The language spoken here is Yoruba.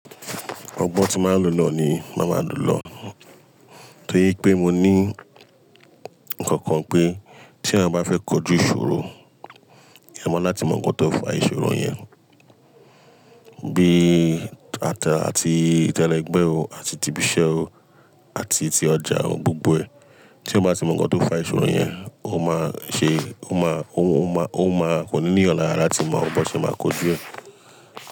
Ọ̀gbọn tí máa lò lọ ni màá máa lò lọ. Torí pé mo ní nǹkan kan pé tí ẹ bá fẹ́ kojú ìṣòro, ẹ mọ láti mọ ǹkan tó fa ìṣòro yẹn bí ata àti tẹ́lẹ̀ ẹgbẹ́ o àti ti ibi iṣẹ́ o àti ti ọjà o, gbogbo ẹ̀. Tí eeyan bá ti mọ ǹkan tó fa ìṣòro yẹn, o máa ṣe, o máa, o máa, o máa kò ní ní eeyan ni ara latí mo bo ṣe máa kojú ẹ.